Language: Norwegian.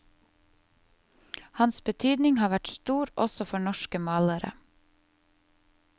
Hans betydning har vært stor, også for norske malere.